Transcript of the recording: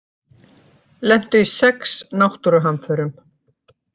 Lentu í sex náttúruhamförum